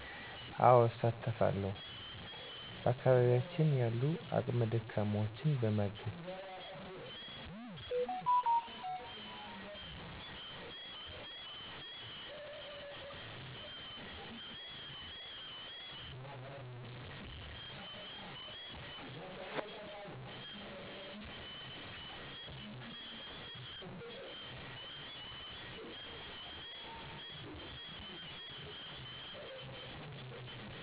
አወ እሳተፋለዉ በአከባቢያችን ያሉ አቅመ ደካማወችን በማገዝ